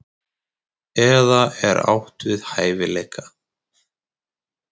Eða er átt við hæfileika?